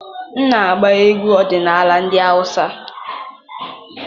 M na-agba egwu ọdịnala ndị Hausa.